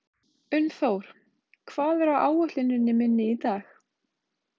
Unnþór, hvað er á áætluninni minni í dag?